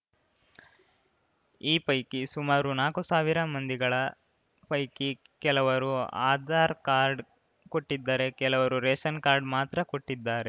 ಈ ಪೈಕಿ ಸುಮಾರು ನಾಕು ಸಾವಿರ ಮಂದಿಗಳ ಪೈಕಿ ಕೆಲವರು ಆಧಾರ್‌ ಕಾರ್ಡ್‌ ಕೊಟ್ಟಿದ್ದರೆ ಕೆಲವರು ರೇಷನ್‌ ಕಾರ್ಡ್‌ ಮಾತ್ರ ಕೊಟ್ಟಿದ್ದಾರೆ